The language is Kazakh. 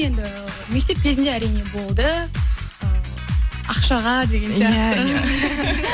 енді мектеп кезінде әрине болды э ақшаға деген сияқты